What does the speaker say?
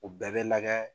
U bɛɛ bɛ lagɛ